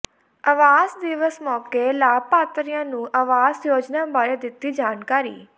ਆਵਾਸ ਦਿਵਸ ਮੌਕੇ ਲਾਭਪਾਤਰੀਆਂ ਨੂੰ ਆਵਾਸ ਯੋਜਨਾ ਬਾਰੇ ਦਿੱਤੀ ਜਾਣਕਾਰੀ